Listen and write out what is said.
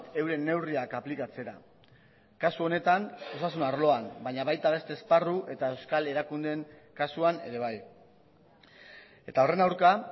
euren neurriak aplikatzera kasu honetan osasun arloan baina baita beste esparru eta euskal erakundeen kasuan ere bai eta horren aurka